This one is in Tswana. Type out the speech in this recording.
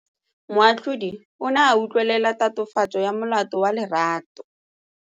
Moatlhodi o ne a utlwelela tatofatsô ya molato wa Lerato.